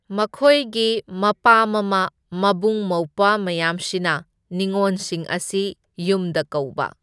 ꯃꯈꯣꯏꯒꯤ ꯃꯄꯥ ꯃꯃꯥ ꯃꯕꯨꯡ ꯃꯧꯄ꯭ꯋꯥ ꯃꯌꯥꯝꯁꯤꯅ ꯅꯤꯉꯣꯟꯁꯤꯡ ꯑꯁꯤ ꯌꯨꯝꯗ ꯀꯧꯕ꯫